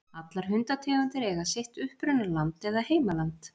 Allar hundategundir eiga sitt upprunaland eða heimaland.